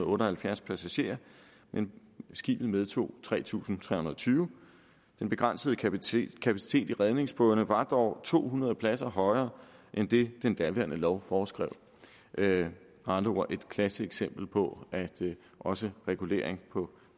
otte og halvfjerds passagerer skibet medtog tre tusind tre hundrede og tyve den begrænsede kapacitet i redningsbådene var dog to hundrede pladser højere end det den daværende lov foreskrev med andre ord er det et klassisk eksempel på at også regulering på